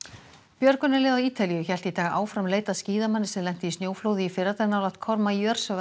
björgunarlið á Ítalíu hélt í dag áfram leit að skíðamanni sem lenti í snjóflóði í fyrradag nálægt